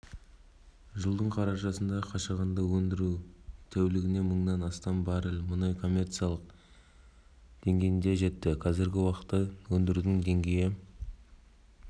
жылдың қарашасында қашағанда өндіру тәулігіне мыңнан астам баррель мұнай коммерциялық деңгейге жетті қазіргі уақытта өндірудің деңгейін